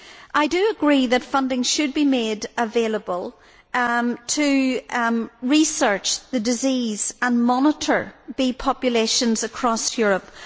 I agree that funding should be made available to research the disease and monitor bee populations across Europe.